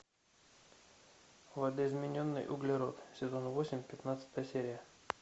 видоизмененный углерод сезон восемь пятнадцатая серия